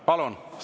Palun!